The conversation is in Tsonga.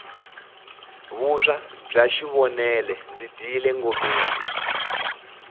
vuswa bya xivonele ndzi dyile ngomeni